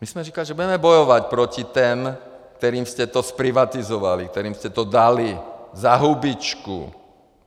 My jsme říkali, že budeme bojovat proti těm, kterým jste to zprivatizovali, kterým jste to dali za hubičku!